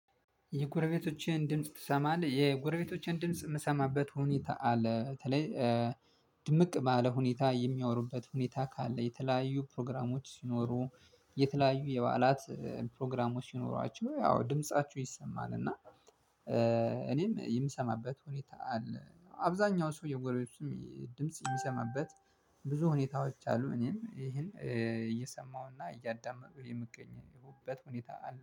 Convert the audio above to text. የጎረቤቶችህን ድምጽ ትሰማለህ? የጎረቤቶቼን ድምጽ የምሰማበት ሁኔታ አለ በተለይ ድምቅ ባለ ሁኔታ የሚያወሩበት ሁኔታ ካለ የተለያዩ ፕሮግራሞች ሲኖሩ የተለያዩ የበዓላት ፕሮግራሞች ሲኖሯቸው ያው ድምፃችሁ ይሰማናል እና እኔም የምሰማበት ሁኔታ አብዛኛው ሰው የጎረቤቱም ድምጽ የሚሰማበት ብዙ ሁኔታዎች አሉ እኔም ይሄን እየሰማሁና እያዳመጥኩ የምገኝበት ሁኔታ አለ